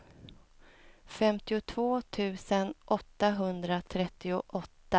femtiotvå tusen åttahundratrettioåtta